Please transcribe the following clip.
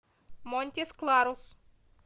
монтис кларус